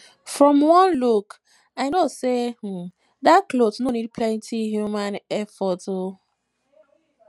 from one look i know say um dat cloth no need plenty human um effort um